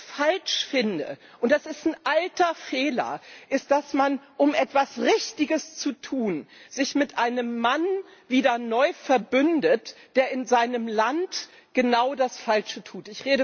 Aber was ich falsch finde, und das ist ein alter Fehler, ist, dass man, um etwas Richtiges zu tun, sich mit einem Mann wieder neu verbündet, der in seinem Land genau das Falsche tut.